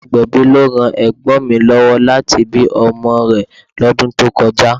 Agbẹ̀bí ló ran ègbón mi Obìnrin lówó láti bí ọmọ rè lọ́dún tó kọjá